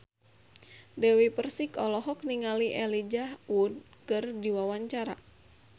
Dewi Persik olohok ningali Elijah Wood keur diwawancara